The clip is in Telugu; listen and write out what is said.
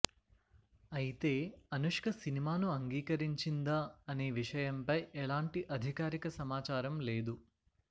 అయితే అనుష్క సినిమాను అంగీకరించిందా అనే విషయంపై ఎలాంటి అధికారిక సమాచారం లేదు